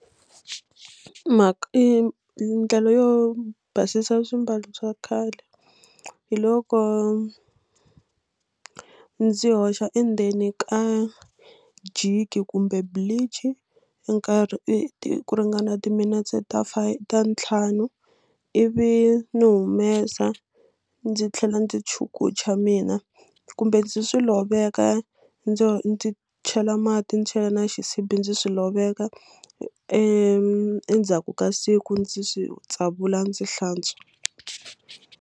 ndlela yo basisa swiambalo swa khale hi loko ndzi hoxa endzeni ka jiki kumbe bleach nkarhi i ku ringana timinetse ta ta ntlhanu ivi ni humesa ndzi tlhela ndzi chukucha mina kumbe ndzi swi loveka ndzo ndzi chela mati ndzi chela na xisibi ndzi swi loveka endzhaku ka siku ndzi swi tsavula ndzi hlantswa.